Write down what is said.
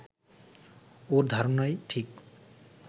ওর ধারণাই ঠিক